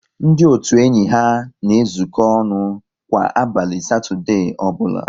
Ndị otu enyi ha na ezuko ọnụ kwa abalị Satọdee ọbụla